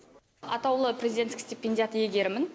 атаулы президенттік стипендиаты иегерімін